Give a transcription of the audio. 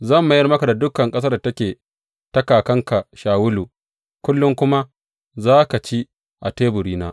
Zan mayar maka da dukan ƙasar da take ta kakanka Shawulu, kullum kuma za ka ci a teburina.